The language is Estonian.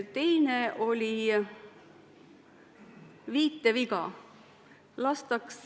Teine oli viiteviga.